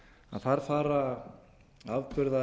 að þar fara afburðamenn